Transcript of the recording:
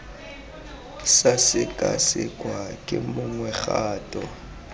sa sekasekwa ke mongwe kgato